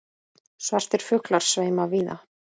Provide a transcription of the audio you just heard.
Svartir fuglar sveima víða.